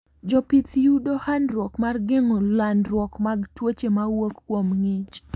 Jopith yudo handruok mar gengo landruok mag tuoche mawuok kuom ngich